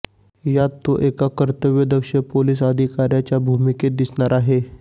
यात तो एका कर्तव्यदक्ष पोलीस अधिकार्याच्या भूमिकेत दिसणार आहे